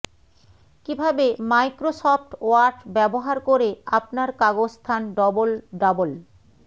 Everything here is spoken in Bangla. কিভাবে মাইক্রোসফট ওয়ার্ড ব্যবহার করে আপনার কাগজ স্থান ডবল ডাবল